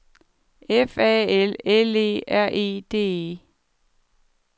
F A L L E R E D E